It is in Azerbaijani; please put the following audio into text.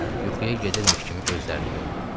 Yuxuya gedirmiş kimi gözlərini yumdu.